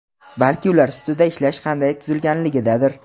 balki ular ustida ishlash qanday tuzilganligidadir.